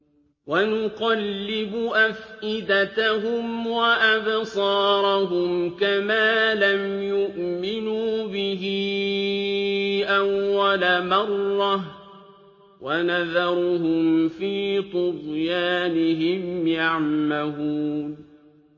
وَنُقَلِّبُ أَفْئِدَتَهُمْ وَأَبْصَارَهُمْ كَمَا لَمْ يُؤْمِنُوا بِهِ أَوَّلَ مَرَّةٍ وَنَذَرُهُمْ فِي طُغْيَانِهِمْ يَعْمَهُونَ